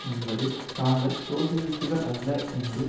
என்பது தாங்கள் சோசியலிஸ்டுகள் அல்ல என்று